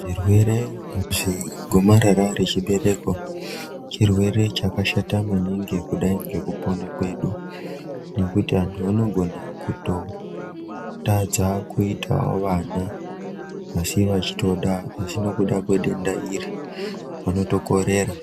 Zvirwere zvegomarara rezvibereko chirwere chakashata maningi kudai ngekupona kwedu nokuti vantu vanogona kutotadza kuitawo vana asi vachitoda, asi nokuda kwedenda iri vanotokorera.